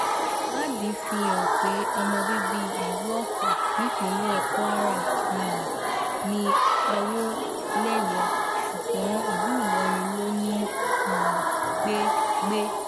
ìwádìí fihàn pé ọmọ bíbí ìlú ọfà nípínlẹ̀ kwara um ní àwọ̀léyé ṣùgbọ́n ìlú ìlọrin ló ń um gbé gbé